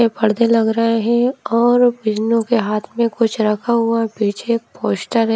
के पर्दे लग रहे हैं और फनो के हाथ में कुछ रखा हुआ पीछे एक पोस्टर है।